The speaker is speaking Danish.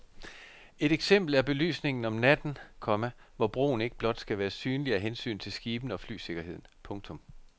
Et eksempel er belysningen om natten, komma hvor broen ikke blot skal være synlig af hensyn til skibene og flysikkerheden. punktum